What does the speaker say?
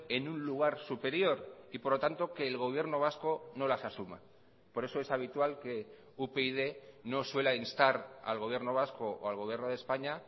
en un lugar superior y por lo tanto que el gobierno vasco no las asuma por eso es habitual que upyd no suela instar al gobierno vasco o al gobierno de españa